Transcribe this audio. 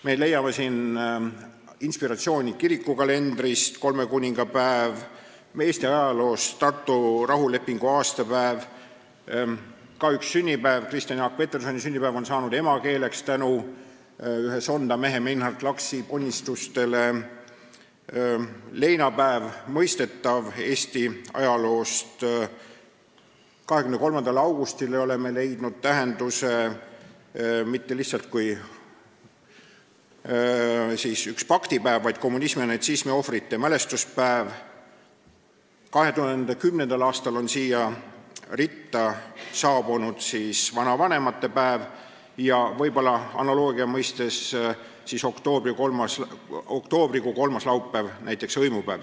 Me leiame seal inspiratsiooni kirikukalendrist – nt kolmekuningapäev –, Eesti ajaloost – nt Tartu rahulepingu aastapäev –, on ka üks sünnipäev – Kristjan Jaak Petersoni sünnipäev on tänu Sonda mehe Meinhard Laksi ponnistustele aluseks emakeelepäevale –, leinapäev tuleneb mõistetavasti Eesti ajaloost, 23. augustile oleme andnud olulise tähenduse – see pole lihtsalt ühe pakti päev, vaid kommunismi ja natsismi ohvrite mälestuspäev –, 2010. aastal on sellesse ritta lisandunud vanavanemate päev ja oktoobrikuu kolmas laupäev on hõimupäev.